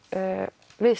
við